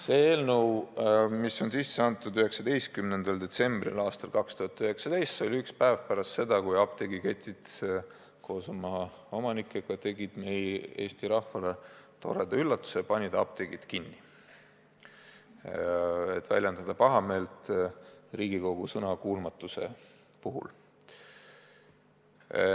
See eelnõu on üle antud 19. detsembril aastal 2019 – see oli üks päev pärast seda, kui apteegiketid koos oma omanikega tegid Eesti rahvale toreda üllatuse ja panid apteegid kinni, et väljendada pahameelt Riigikogu sõnakuulmatuse puhul.